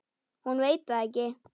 Hún veit það ekki.